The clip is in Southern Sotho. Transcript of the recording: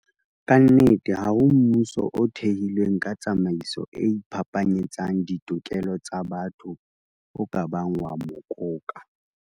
Ka nnete, ha ho mmuso o thehilweng ka tsamaiso e iphapanyetsang ditokelo tsa batho o ka bang wa mokoka.